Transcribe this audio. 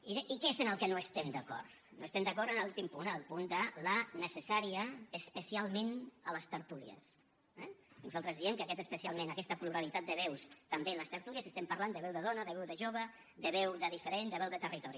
i què és en el que no estem d’acord no estem d’acord en l’últim punt el punt de la necessària especialment a les tertúlies eh nosaltres diem que aquest especialment aquesta pluralitat de veus també a les tertúlies estem parlant de veu de dona de veu de jove de veu de diferent de veu de territori